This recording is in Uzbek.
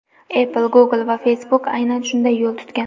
Apple, Google va Facebook aynan shunday yo‘l tutgan.